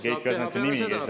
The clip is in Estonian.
Keit Kasemetsa nimi käis läbi …